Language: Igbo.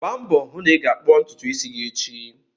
Gbaa mbọ hụ na ị ga-kpụọ ntutu isi gị echi!